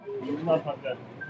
Yollar bağlıdır.